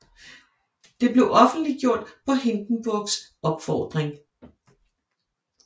Det blev offentliggjort på Hindenburgs opfordring